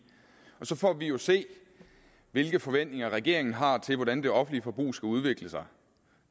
og så får vi jo se hvilke forventninger regeringen har til hvordan det offentlige forbrug skal udvikle sig